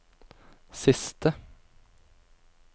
siste